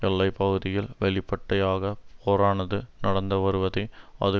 எல்லை பகுதியில் வெளிப்பட்டையாக போரானது நடந்து வருவதை அது